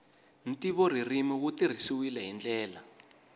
ntivoririmi wu tirhisiwile hi ndlela